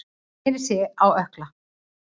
Hann snéri sig á ökkla.